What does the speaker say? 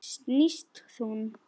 Snýst hún?